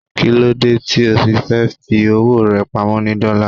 Kíló dé tí o fi fẹ́ fi owó rẹ pamọ́ ni Dọ́là?